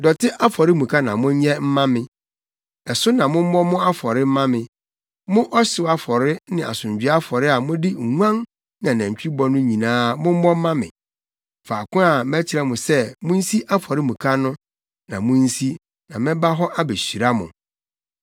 “ ‘Dɔte afɔremuka na monyɛ mma me. Ɛso na mommɔ mo afɔre mma me. Mo ɔhyew afɔre ne asomdwoe afɔre a mode nguan ne anantwi bɔ no nyinaa mommɔ mma me. Faako a mɛkyerɛ mo sɛ munsi afɔremuka no na munsi na mɛba hɔ abehyira mo.